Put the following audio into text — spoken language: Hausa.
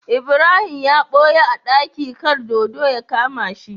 Ibrahim ya buya a daki kar dodo ya kama shi